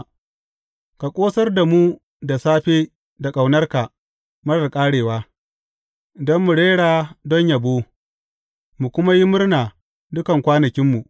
Ka ƙosar da mu da safe da ƙaunarka marar ƙarewa, don mu rera don yabo, mu kuma yi murna dukan kwanakinmu.